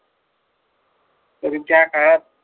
तरी त्या काळात